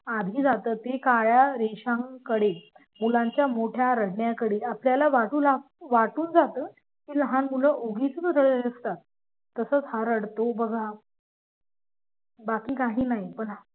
आधी जातो ते काळे रेशन कडे मुलांच्या मोठ्या रडण्याकडे आपल्याला वाटून जातं की लहान मुलं उगीच रडत असतात तसेच हा रडतो बघा बाकी काही नाही.